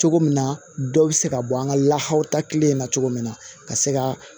Cogo min na dɔw bɛ se ka bɔ an ka lahaw ta kelen na cogo min na ka se ka